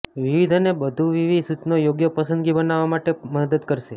વિવિધ અને બહુવિધ સૂચનો યોગ્ય પસંદગી બનાવવા માટે મદદ કરશે